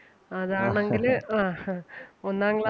അതാണെങ്കില് ആഹ് ഹാ ഒന്നാം ക്ലാ